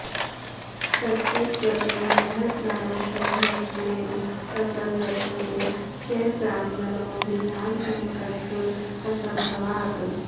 तस्य स्वतो मनःप्राणशून्यत्वेन असङ्गत्वेन च प्राणमनो विभागजनकत्व असम्भवात्